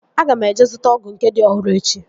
Aga m eje zụta ọgụ nke dị ọhụrụ echi